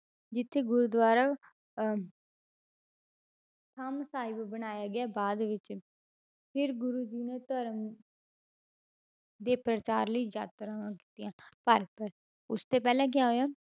ਜਿੱਥੇ ਗੁਰੂਦੁਆਰਾ ਅਹ ਥੰਮ ਸਾਹਿਬ ਬਣਾਇਆ ਗਿਆ ਬਾਅਦ ਵਿੱਚ ਫਿਰ ਗੁਰੂ ਜੀ ਨੇ ਧਰਮ ਦੇ ਪ੍ਰਚਾਰ ਲਈ ਯਾਤਰਾਵਾਂ ਕੀਤੀਆਂ ਉਸ ਤੋਂ ਪਹਿਲਾਂ ਕਿਆ ਹੋਇਆ